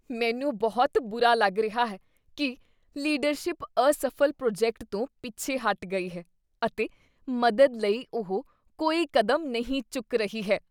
ਮੈਨੂੰ ਬਹੁਤ ਬੁਰਾ ਲੱਗ ਰਿਹਾ ਹੈ ਕੀ ਲੀਡਰਸ਼ਿਪ ਅਸਫ਼ਲ ਪ੍ਰੋਜੈਕਟ ਤੋਂ ਪਿੱਛੇ ਹਟ ਗਈ ਹੈ ਅਤੇ ਮਦਦ ਲਈ ਉਹ ਕੋਈ ਕਦਮ ਨਹੀਂ ਚੁੱਕ ਰਹੀ ਹੈ।